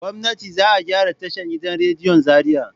Gwamnati za a gyara tashan gidan rediyon Zariya.